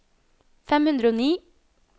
fem hundre og ni